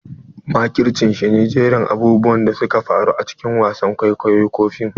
Makirci shi ne jerin abubuwan da suka faru a cikin wasan kwaikwayo ko fim.